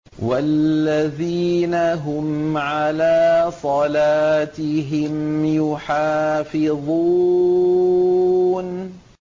وَالَّذِينَ هُمْ عَلَىٰ صَلَاتِهِمْ يُحَافِظُونَ